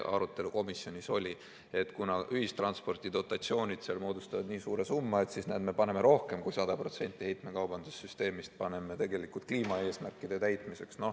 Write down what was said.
Arutelu komisjonis oli selline, et kuna ühistranspordi dotatsioonid moodustavad nii suure summa, siis näe, me paneme rohkem kui 100% heitmekaubanduse süsteemist tegelikult kliimaeesmärkide täitmiseks.